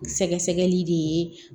Sɛgɛsɛgɛli de ye